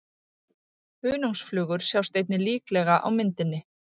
Hunangsflugur sjást einnig líklega á myndinni.